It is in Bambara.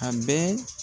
A bɛɛ